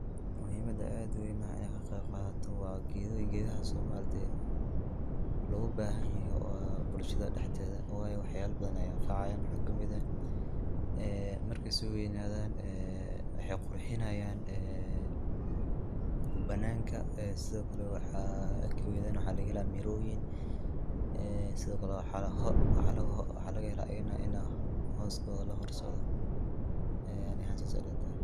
Muhimada aad uweyn inaa kaa qeyb qadatoo waa gedoyiinka. gedaahas oo maaragte logaa bahaan yahaay waa bulshadaa dhexdeeda waayo wax yaala badaan ayeey anfacayaan. waxa kamiid eeh ee markee soo weynadaan ee waxey qurxinayaan ee banaanka ee sidoo kalee waxa iyadanaa waxa lagaa heela miroyiin. ee sidoo kalee waxa lagaa heela iyadanaa inaa hoskodaa laa harsaado anii ahaan saase ilaa tahaay.